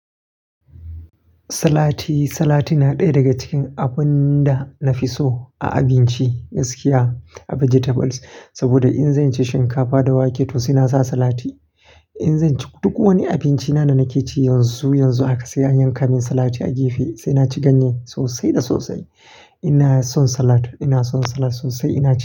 Salati, salati na ɗaya daga cikin abun da na fi so a abinci gaskiya a vegetables. Saboda in zan ci shinkafa da wake to sai na sa salati. In zan ci duk wani abinci na da nake ci yanzu, yanzu haka sai an yanka min salati a gefe sai na ci ganye sosai da sosai. Ina son salati, ina son salati sosai ina ci.